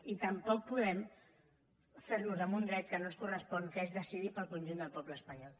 i tampoc podem fer nos amb un dret que no ens correspon que és decidir pel conjunt del poble espanyol